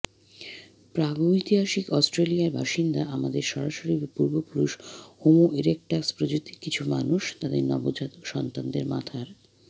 প্রাগৈতিহাসিক অস্ট্রেলিয়ার বাসিন্দা আমাদের সরাসরি পূর্বপুরুষ হোমো ইরেক্টাস প্রজাতির কিছু মানুষ তাদের নবজাতক সন্তানদের মাথার